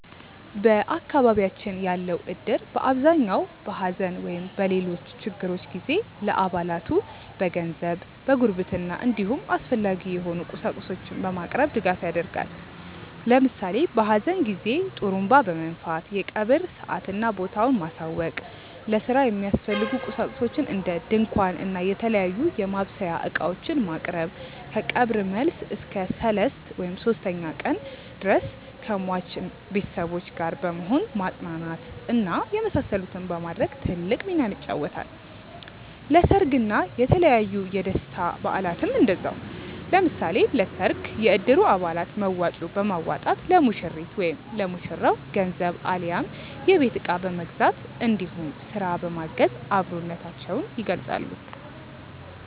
በአካባቢያችን ያለው እድር በአብዛኛው በሐዘን ወይም በሌሎች ችግሮች ጊዜ ለአባላቱ በገንዘብ፣ በጉርብትና እንዲሁም አስፈላጊ የሆኑ ቁሳቁሶችን በማቅረብ ድጋፍ ያደርጋል። ለምሳሌ በሀዘን ጊዜ ጡሩንባ በመንፋት የቀብር ሰአትና ቦታውን ማሳወቅ፣ ለስራ የሚያስፈልጉ ቁሳቁሶችን እንደ ድንኳን እና የተለያዩ የማብሰያ እቃዎችን ማቅረብ፣ ከቀብር መልስ እስከ ሰልስት (ሶስተኛ ቀን) ድረስ ከሟች ቤተሰቦች ጋር በመሆን ማፅናናት እና የመሳሰሉትን በማድረግ ትልቅ ሚናን ይጫወታል። ለሰርግ እና የተለያዩ የደስታ በአላትም እንደዛው። ለምሳሌ ለሰርግ የእድሩ አባላት መዋጮ በማዋጣት ለሙሽሪት/ ለሙሽራው ገንዘብ አሊያም የቤት እቃ በመግዛት እንዲሁም ስራ በማገዝ አብሮነታቸውን ይገልፃሉ።